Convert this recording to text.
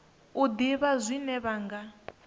u ḓivha zwine vha nga